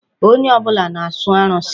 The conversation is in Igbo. Onye ọbụla na-asọ arụsị.